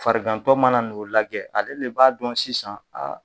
Farigantɔ mana n'o lajɛ, ale de b'a dɔn sisan